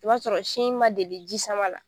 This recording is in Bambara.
I b'a sɔrɔ sin ma deli jisama la.